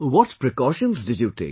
What precautions did you take